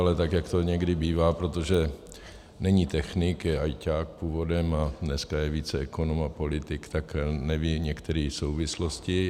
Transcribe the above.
Ale tak jak to někdy bývá, protože není technik, je ajťák původem a dneska je více ekonom a politik, tak neví některé souvislosti.